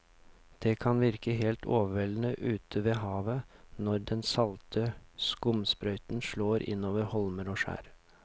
Det kan virke helt overveldende ute ved havet når den salte skumsprøyten slår innover holmer og skjær.